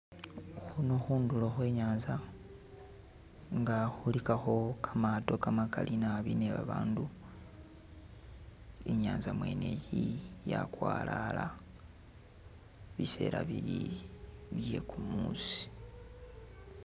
Khuno khundulo khwe inyanza nga khulikakho kamaato kamakali naabi nebabandu inyanza mwene iyi yakwalala biseela bili bye'kumusi